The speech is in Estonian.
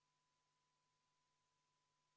Panen hääletusele 27. muudatusettepaneku.